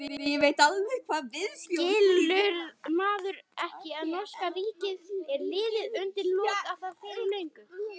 Skilur maðurinn ekki að norska ríkið er liðið undir lok og það fyrir löngu?